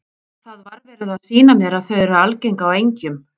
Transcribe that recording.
Það var verið að sýna mér að þau eru algeng á engjum.